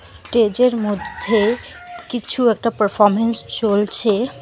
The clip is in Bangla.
স্টেজ -এর মধ্যে কিছু একটা পারফরম্যান্স চলছে।